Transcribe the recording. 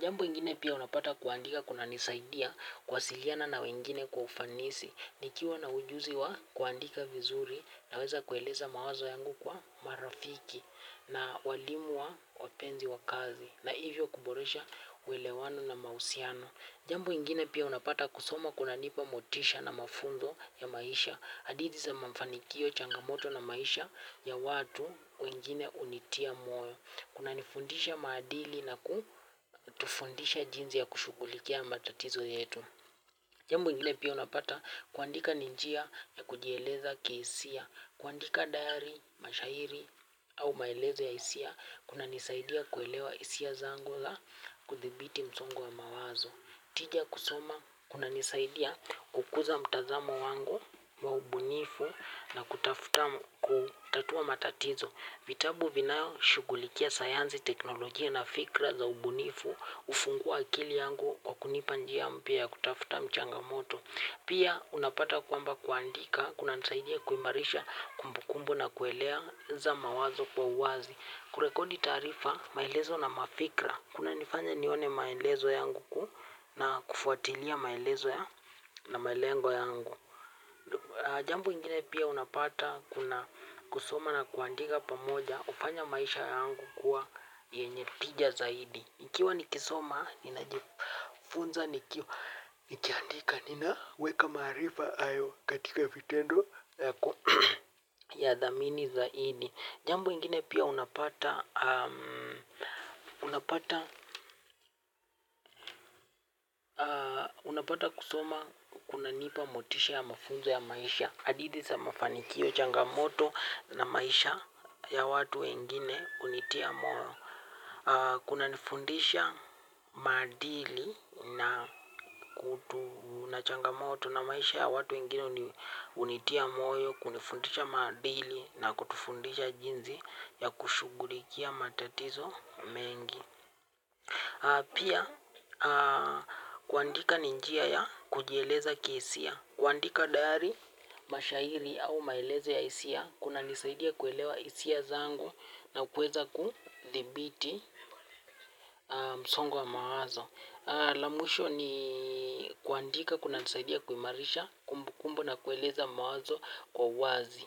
Jambo ingine pia unapata kuandika kunanisaidia kuwasiliana na wengine kwa ufanisi nikiwa na ujuzi wa kuandika vizuri naweza kueleza mawazo yangu kwa marafiki. Na walimu wa wapenzi wa kazi na hivyo kuboresha uelewano na mahusiano. Jambo ingine pia unapata kusoma kunanipa motisha na mafunzo ya maisha hadithi za mafanikio changamoto na maisha ya watu wengine hunitia moyo. Kunanifundisha maadili na kutufundisha jinsi ya kushughulikia matatizo yetu. Jambo ingine pia unapata kuandika ni njia ya kujieleza kihisia kuandika dayari mashairi au maelezo ya hisia kunanisaidia kuelewa hisia zangu na kudhibiti msongo wa mawazo. Kupitia kusoma kunanisaidia kukuza mtazamo wangu wa ubunifu. Kutafuta kutatua matatizo. Vitabu vinavyoshughulikia sayansi, teknolojia na fikra za ubunifu hufungua akili yangu, kwa kunipa njia mpya za kutafuta changamoto. Pia unapata kwamba kuandika kunanisaidia kuimarisha kumbukumbu na kueleza mawazo kwa uwazi. Kurekodi taarifa, maelezo na mafikira. Kunanifanya nione maelezo yangu na kufuatilia maelezo na malengo yangu. Jambo lingine pia unapata kuna kusoma na kuandika pamoja kufanya maisha yangu kuwa yenye tija zaidi. Nikiwa nikisoma, ninajifunza, na nikiandika ninaweka maarifa hayo katika vitendo, ninathamini zaidi. Jambu ingine pia unapata kusoma kunanipa motisha ya mafunzo ya maisha. Hadithi za mafanikio, changamoto na maisha ya watu wengine hunitia moyo. Kunanifundisha maadili na unachangamoto na maisha ya watu wengine yanitia moyo, kunifundisha maadili na kutufundisha jinsi ya kushughulikia matatizo mengi. Pia, kuandika ni njia ya kujieleza kihisia. Kuandika diari, mashairi au maelezo ya hisia, kunanisaidia kuelewa hisia zangu na kuweza kudhibiti msongo wa mawazo. La mwisho ni kuandika kunanisaidia kuimarisha kumbukumbu na kueleza mawazo kwa wazi.